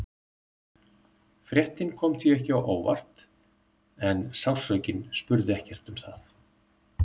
Fréttin kom því ekki á óvart en sársaukinn spurði ekkert um það.